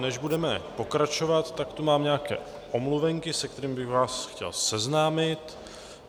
Než budeme pokračovat, tak tu mám nějaké omluvenky, s kterými bych vás chtěl seznámit.